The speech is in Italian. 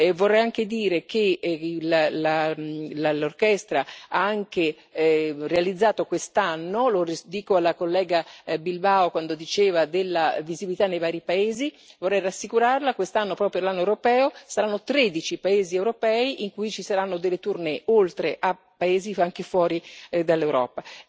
Vorrei anche dire che l'orchestra ha anche realizzato quest'anno lo dico alla collega Bilbao quando diceva della visibilità nei vari paesi vorrei rassicurarla quest'anno, proprio per l'anno europeo, saranno tredici i paesi europei in cui ci saranno delle tournée, oltre a paesi anche fuori dall'Europa.